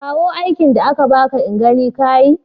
Kawo aikin da aka baka in gani ka yi.